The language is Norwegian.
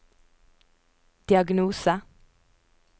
diagnose